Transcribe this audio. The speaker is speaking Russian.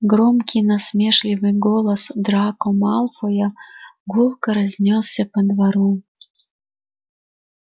громкий насмешливый голос драко малфоя гулко разнёсся по двору